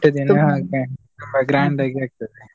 grand ಆಗಿ ಆಗ್ತದೆ.